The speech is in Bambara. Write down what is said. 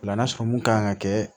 O la n'a sɔrɔ mun kan ka kɛ